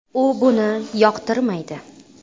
U buni yoqtirmaydi”.